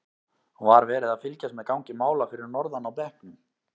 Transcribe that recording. Var verið að fylgjast með gangi mála fyrir norðan á bekknum?